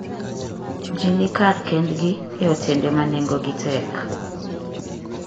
Ji ni kar kendgi e otende ma nengogi tek.